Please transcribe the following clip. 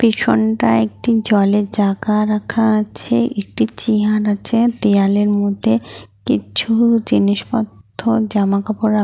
পিছনটা একটি জলের জায়গা রাখা আছে। একটি চেয়ার আছে দেয়ালের মধ্যে কিছু জিনিসপত্র জামাকাপড় রা --